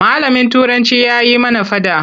Malamin Turanci ya yi mana faɗa.